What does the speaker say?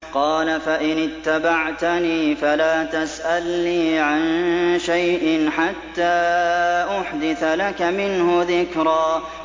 قَالَ فَإِنِ اتَّبَعْتَنِي فَلَا تَسْأَلْنِي عَن شَيْءٍ حَتَّىٰ أُحْدِثَ لَكَ مِنْهُ ذِكْرًا